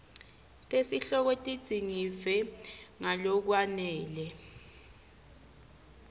tesihloko tidzingidvwe ngalokwanele